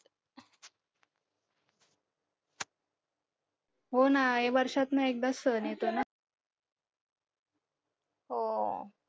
हो ना वर्षातन एकदाच सहन येतो ना